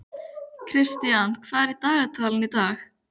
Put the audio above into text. Kristian, hvað er í dagatalinu í dag?